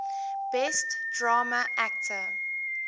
best drama actor